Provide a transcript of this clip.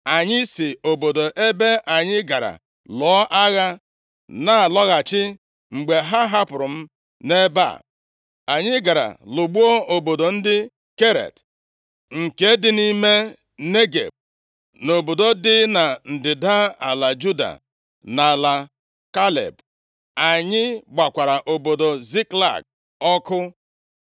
Anyị si obodo ebe anyị gara lụọ agha na-alọghachi mgbe ha hapụrụ m nʼebe a. Anyị gara lụgbuo obodo ndị Keret, + 30:14 Ndị Keret, ha na ndị Filistia nwere ka ha si bụrụ nwanne \+xt Zef 2:5\+xt* Ma ndị Keret mesịrị soro Devid na-alụ agha \+xt 2Sa 15:18; 20:7; 1Ez 1:38,44\+xt* nke dị nʼime Negeb, na obodo dị na ndịda ala Juda na ala Kaleb. Anyị gbakwara obodo Ziklag ọkụ.”